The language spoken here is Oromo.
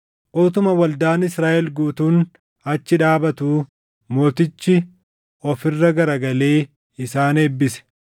Utuma waldaan Israaʼel guutuun achi dhaabatuu mootichi of irra garagalee isaan eebbise.